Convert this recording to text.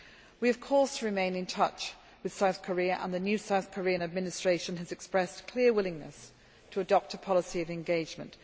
We of course remain in touch with South Korea and the new South Korean administration has expressed clear willingness to adopt a policy of engagement.